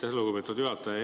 Aitäh, lugupeetud juhataja!